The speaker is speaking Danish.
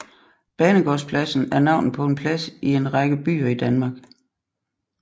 Banegårdspladsen er navnet på en plads i en række byer i Danmark